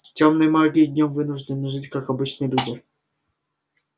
тёмные маги днём вынуждены жить как обычные люди